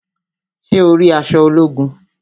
Ṣé o rí aṣọ ológun?